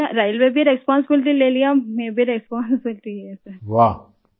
اتنی ریلوے نے بھی ذمہ داری لی اور میں نے بھی یہ ذمہ داری لے لی سر